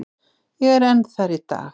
Ég er enn þar í dag.